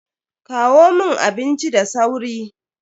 Kawo mun abinci da sauri.